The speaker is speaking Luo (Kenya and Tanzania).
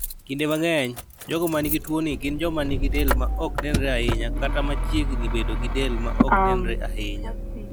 Kinde mang'eny, jogo ma nigi tuwoni gin joma nigi del ma ok nenre ahinya kata ma chiegni bedo gi del ma ok nenre ahinya.